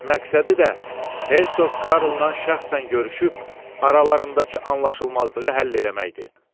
Məqsədi də Hersoq Karlla şəxsən görüşüb aralarındakı anlaşılmazlığı həll eləməkdi.